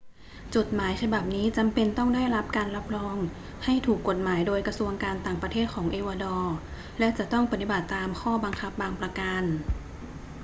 จดหมายฉบับนี้จำเป็นต้องได้รับการรับรองให้ถูกกฎหมายโดยกระทรวงการต่างประเทศของเอกวาดอร์ และจะต้องปฏิบัติตามข้อบังคับบางประการ